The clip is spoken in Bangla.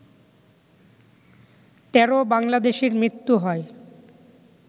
১৩ বাংলাদেশির মৃত্যু হয়